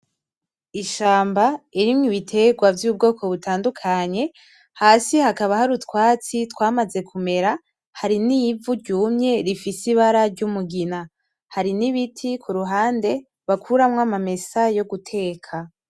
Ishamba irimo ibitegwa vyubwoko butandukanye hasi hakaba hari utwatsi twamaze kumera hari n'ivu ryumye rifise ibara ry'umugina hari n'ibiti kuruhande bakuramo amamesa yo guteka.